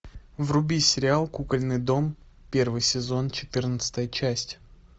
вруби сериал кукольный дом первый сезон четырнадцатая часть